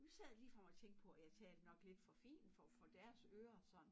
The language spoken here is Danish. Nu sad jeg ligefrem og tænkte på at jeg talte nok lidt for fint for for deres ører sådan